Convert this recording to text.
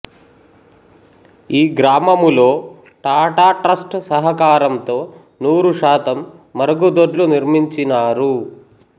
ఈ గ్రామములో టాటా ట్రస్ట్ సహకారంతో నూరు శాతం మరుగుదొడ్లు నిర్మించినారు